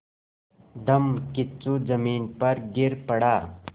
धम्मकिच्चू ज़मीन पर गिर पड़ा